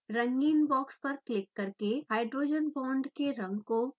रंगीन बॉक्स पर क्लिक करके हाइड्रोजन बांड के रंग को फिक्स करें